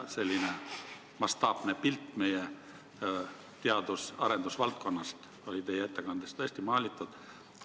Selline mastaapne pilt meie teadus- ja arendusvaldkonnast sai teie ettekandes tõesti maalitud.